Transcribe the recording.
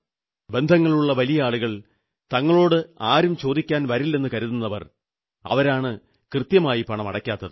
ബന്ധങ്ങളുള്ള വലിയ ആളുകൾ തങ്ങളോട് ആരും ചോദിക്കാൻ വരില്ലെന്നു കരുതുന്നവർ അവരാണ് കൃത്യമായി പണമടയ്ക്കാത്തത്